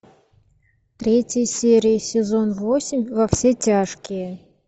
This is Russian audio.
третья серия сезон восемь во все тяжкие